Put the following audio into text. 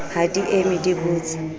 ha di eme di botse